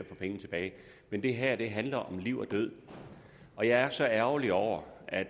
få pengene tilbage men det her handler om liv og død og jeg er så ærgerlig over at